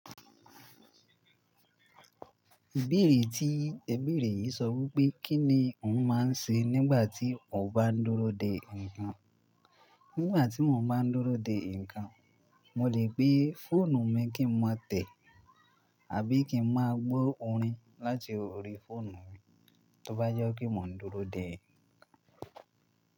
Bẹ̀rẹ̀ tí, ẹ̀ bẹ̀rẹ̀ yìí sọ wí pé kí ni òun máa ń ṣe nígbà tí ò bá ń dúró de ǹkan? Nígbà tí mò ń bá ń dúró de ǹkan, mo lè pè fóònù mi kí n má tẹ̀. Àbí kí n má gbó orin láti orí fóònù mi tó bá jọ́ kí mò ń dúró de ǹkan.